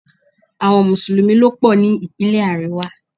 Àwọn Mùsùlùmí ló pò ní Ìpínlẹ̀ àríwá.